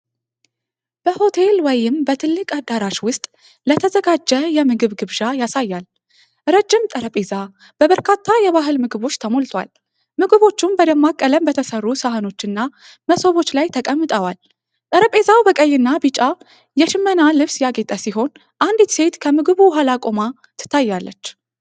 በሆቴል ወይም በትልቅ አዳራሽ ውስጥ ለተዘጋጀ የምግብ ግብዣ ያሳያል። ረጅም ጠረጴዛ በበርካታ የባህል ምግቦች ተሞልቷል፤ ምግቦቹም በደማቅ ቀለም በተሠሩ ሳህኖችና መሶቦች ላይ ተቀምጠዋል። ጠረጴዛው በቀይና ቢጫ የሽመና ልብስ ያጌጠ ሲሆን፣ አንዲት ሴት ከምግቡ ኋላ ቆማ ትታያለች።